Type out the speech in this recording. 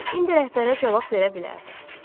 İndi rəhbərə cavab verə bilərdim.